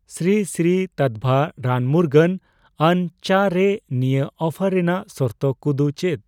ᱥᱨᱤ ᱥᱨᱤ ᱛᱟᱛᱵᱷᱟ ᱨᱟᱱᱢᱩᱨᱜᱟᱹᱱ ᱟᱱ ᱪᱟ ᱨᱮ ᱱᱤᱭᱟᱹ ᱚᱯᱷᱟᱨ ᱨᱮᱭᱟᱜ ᱥᱚᱨᱛᱚ ᱠᱩ ᱫᱚ ᱪᱮᱫ ?